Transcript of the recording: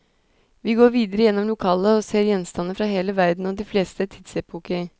Vi går videre gjennom lokalet og ser gjenstander fra hele verden og de fleste tidsepoker.